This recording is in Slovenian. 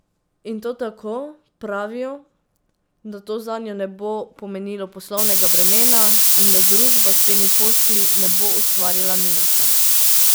In to tako, pravijo, da to zanjo ne bo pomenilo poslovnega bremena in da družba s temi posli ne bo ustvarjala minusa.